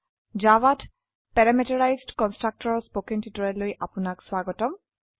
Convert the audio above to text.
জাভাত parameterized constructor ৰ spoken টিউটোৰিয়েলে আপনাক স্বাগতম